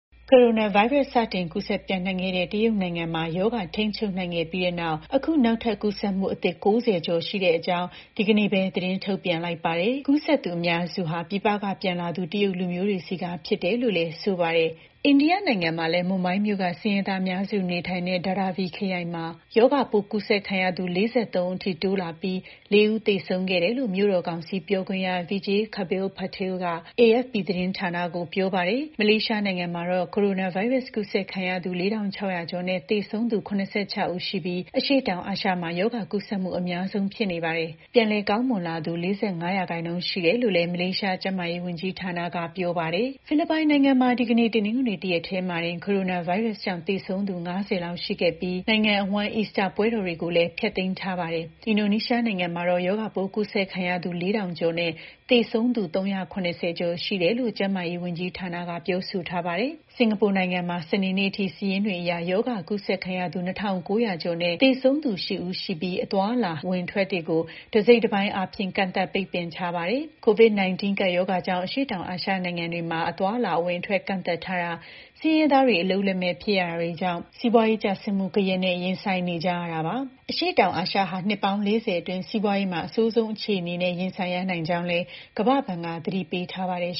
ကိုရိုနာဗိုင်းရပ်စ် စတင်ကူးစက် ပျံ့နှံ့ခဲ့တဲ့ တရုတ်နိုင်ငံမှာ ရောဂါထိန်းချုပ်နိုင်ခဲ့ပြီးနောက် အခု နောက်ထပ် ကူးစက်မှုအသစ် ၉၀ ကျော် ရှိကြောင်း ဒီကနေ့ပဲ သတင်းထုတ်ပြန်လိုက်ပါတယ်။ ကူးစက်သူ အများစုဟာ ပြည်ပကပြန်လာသူ တရုတ်လူမျိုးတွေဆီက ဖြစ်တယ်လို့လည်း ဆိုပါတယ်။ အိန္ဒိယနိုင်ငံမှာလည်း မွမ်ဘိုင်းမြို့က ဆင်းရဲသားအများစု နေထိုင်တဲ့ Dharavi ခရိုင်မှာ ရောဂါပိုးကူးစက်ခံရသူ ၄၃ ဦးအထိ တိုးလာပြီး ၄ ဦးသေဆုံးခဲ့တယ်လို့ မြို့တော်ကောင်စီပြောခွင့်ရ Vijay Khabale-Patil က AFP သတင်းဌာနကို ပြောပါတယ်။ မလေးရှားနိုင်ငံကတော့ ကိုရိုနာဗိုင်းရပ်စ် ကူးစက်ခံရသူ ၄၆၀၀ ကျော်နဲ့ သေဆုံးသူ ၇၆ ဦးရှိပြီး အရှေ့တောင်အာရှမှာ ရောဂါကူးစက်မှု အများဆုံး ဖြစ်နေပါတယ်။ နေပြန်ကောင်းလာသူ ၄၅ ရာခိုင်နှုန်း ရှိတယ်လို့လည်း မလေးရှား ကျန်းမာရေးဝန်ကြီးဌာနက ပြောပါတယ်။ ဖိလစ်ပိုင်နိုင်ငံမှာ ဒီကနေ့ တနင်္ဂနွေ တရက်တည်းမှာတင် ကိုရိုနာဗိုင်းရပ်စ်ကြောင့် သေဆုံးသူ ၅၀ လောက်ရှိခဲ့ပြီး နိုင်ငံအဝှမ်း အီစတာပွဲတော်တွေကိုလည်း ဖျက်သိမ်းထားပါတယ်။ အင်ဒိုနီးရှားနိုင်ငံမှာတော့ ရောဂါပိုး ကူးစက်ခံထားရသူ ၄၀၀၀ ကျော်နဲ့ သေဆုံးသူ ၃၇၀ ကျော်ရှိတယ်လို့ ကျန်းမာရေးဝန်ကြီးဌာနက ပြောဆိုထားပါတယ်။ စင်ကာပူနိုင်ငံမှာ စနေနေ့အထိ စာရင်းတွေအရ ရောဂါကူးစက်ခံရသူ ၂၉၀၀ ကျော်နဲ့ သေဆုံးသူ ၈ ဦးရှိနေပြီး အသွားအလာ အဝင်အထွက်တွေကို တစိတ်တပိုင်းအားဖြင့် ကန့်သတ်ပိတ်ပင်ထားပါတယ်။ COVID-19 ကပ်ရောဂါကြောင့် အရှေ့တောင်အာရှ နိုင်ငံတွေမှာ အသွားအလာ အဝင်အထွက် ကန့်သတ်ထားတာ၊ ဆင်းရဲသားတွေ အလုပ်လက်မဲ့ ဖြစ်ရတာတွေကြောင့် စီးပွားရေးကျဆင်းမှုဂယက်နဲ့ ရင်ဆိုင်နေကြရတာပါ။ အရှေ့တောင်အာရှဟာ နှစ်ပေါင်း ၄၀ အတွင်း စီးပွားရေးမှာ အဆိုးဆုံးအခြေအနေနဲ့ ရင်ဆိုင်ရနိုင်ကြောင်းလည်း ကမ္ဘာ့ဘဏ်က သတိပေးထားပါတယ်